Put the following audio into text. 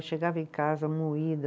Eu chegava em casa moída.